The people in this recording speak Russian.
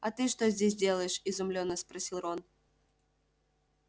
а ты что здесь делаешь изумлённо спросил рон